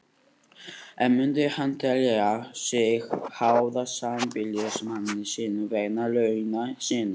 En myndi hún telja sig háða sambýlismanni sínum vegna launa sinna?